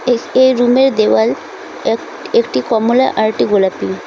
এর রুমের দেওয়াল এক একটি কমলা আরেকটি গোলাপি।